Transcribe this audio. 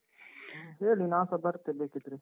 ಹೇಳಿ, ನಾನ್ಸ ಬರ್ತೇ ಬೇಕಿದ್ರೆ.